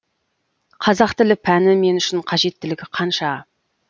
қазақ тілі пәні мен үшін қажеттілігі қанша